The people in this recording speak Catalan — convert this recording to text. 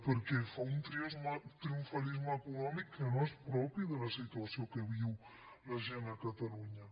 perquè fa un triomfalisme econòmic que no és propi de la situació que viu la gent a catalunya